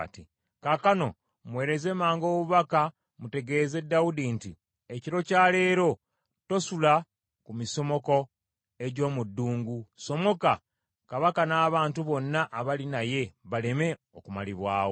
Kaakano muweereze mangu obubaka mutegeeze Dawudi nti, ‘Ekiro kya leero tosula ku misomoko egy’omu ddungu; ssomoka, kabaka n’abantu bonna abali naye baleme okumalibwawo.’ ”